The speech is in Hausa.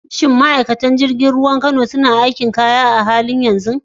Shin ma’aikatan jirgin ruwa a Kano suna gudanar da aikin duba kaya a halin yanzu?